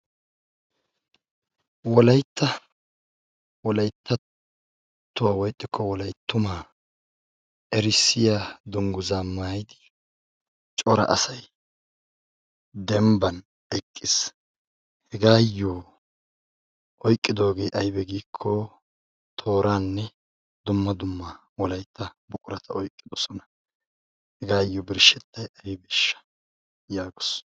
Wolaytta wolayttattuwa woy ixxikko wolayttuma erissiya dungguzza maayidi cora asay dembban eqqis. Hegaayo oyqqidoge aybe gikko toorane dumma dumma wolaytta buqurata oyqqidosona. Hegaayo birshshetay aybesha? yaagos.